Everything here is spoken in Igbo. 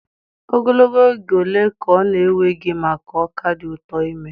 Ogologo oge ole ka ọ na-ewe gị maka ọka dị ụtọ ime?